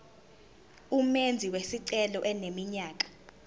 umenzi wesicelo eneminyaka